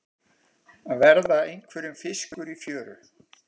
Að verða einhverjum fiskur í fjöru